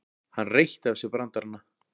Hann reytti af sér brandarana.